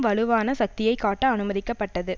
வலுவான சக்தியை காட்ட அனுமதிக்கப்பட்டது